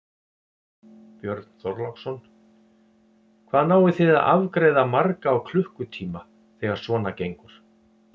Björn Þorláksson: Hvað náið þið að afgreiða marga á klukkutíma þegar svona gengur?